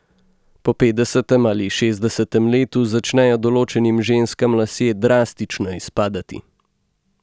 Po petdesetem ali šestdesetem letu začnejo določenim ženskam lasje drastično izpadati.